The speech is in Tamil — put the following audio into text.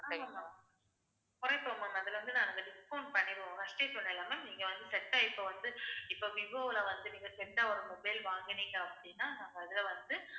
குறைப்போம் ma'am அதுல இருந்து நாங்க discount பண்ணிடுவோம். ma'am first ஏ சொன்னேன்ல இல்ல ma'am நீங்க வந்து set இப்ப வந்து, இப்ப விவோல வந்து நீங்க set ஆ ஒரு mobile வாங்குனீங்க அப்படின்னா நாங்க அதுல வந்து